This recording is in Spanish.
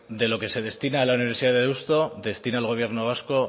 de lo que se destina a la universidad de deusto destina el gobierno vasco